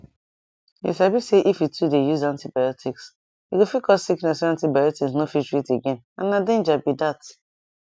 you sabi say if you too dey use antibiotics e go fit cause sickness wey antibiotics no fit treat again and na danger be that